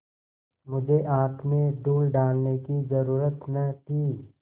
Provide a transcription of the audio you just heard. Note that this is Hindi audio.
मुझे आँख में धूल डालने की जरुरत न थी